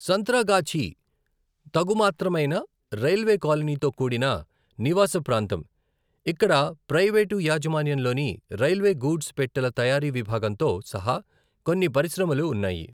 సంత్రాగాఛీ తగుమాత్రమైన రైల్వే కాలనీతో కూడిన నివాస ప్రాంతం, ఇక్కడ ప్రైవేటు యాజమాన్యంలోని రైల్వే గూడ్స్ పెట్టెల తయారీ విభాగంతో సహా కొన్ని పరిశ్రమలు ఉన్నాయి.